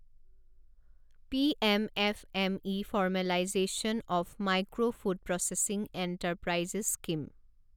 PM F M E formalisation of micro food processing enterprises scheme